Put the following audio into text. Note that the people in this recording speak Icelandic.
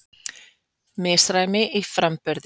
Misræmi í framburði